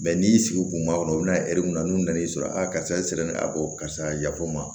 n'i y'i sigi kunkuru bina ɛri mun na n'u nan'i sɔrɔ a karisa e sirannen do a ko karisa yafo n ma